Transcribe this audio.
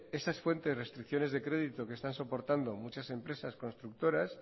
esas fuertes restricciones de crédito que están soportando muchas empresas constructoras